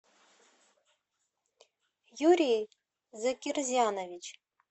юрий закирзянович